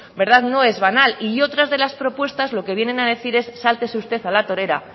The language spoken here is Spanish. no es banal y dentro otras de las propuestas lo que vienen a decir es sáltese usted a la torera